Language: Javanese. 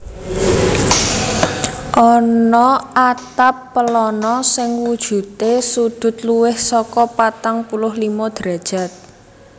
Ana atap pelana sing wujudé sudut luwih saka patang puluh limo derajat